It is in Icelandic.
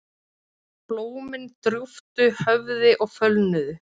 Blómin drúptu höfði og fölnuðu.